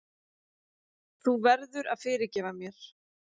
Þú verður að fyrirgefa mér.